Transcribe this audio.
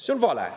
See on vale.